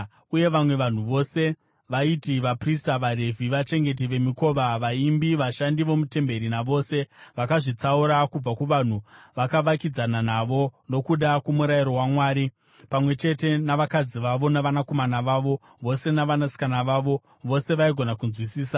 “Uye vamwe vanhu vose, vaiti vaprista, vaRevhi, vachengeti vemikova, vaimbi, vashandi vomutemberi, navose vakazvitsaura kubva kuvanhu vakavakidzana navo, nokuda kwomurayiro waMwari, pamwe chete navakadzi vavo, navanakomana vavo vose navanasikana vavo vose vaigona kunzwisisa.